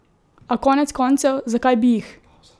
A konec koncev, zakaj bi jih?